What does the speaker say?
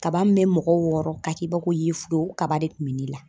Kaba min bɛ mɔgɔ wɔɔrɔ k'a k'i b'a ko yefuge o kaba de kun be ne la.